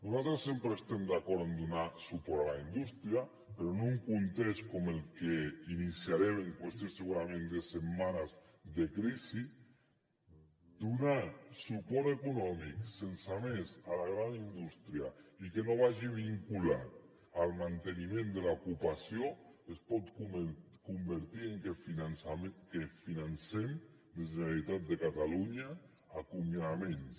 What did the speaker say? nosaltres sempre estem d’acord en donar suport a la indústria però en un context com el que iniciarem en qüestió segurament de setmanes de crisi donar suport econòmic sense més a la gran indústria i que no vagi vinculat al manteniment de l’ocupació es pot convertir en que financem des de la generalitat de catalunya acomiadaments